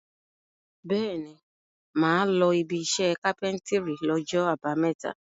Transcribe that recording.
Bẹ́ẹ̀ni, mà á lọ ibiṣẹ́ kápẹ́ńtírì lọ́jọ́ àbámẹ́ta.